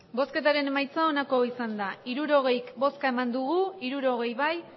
hirurogei eman dugu bozka hirurogei bai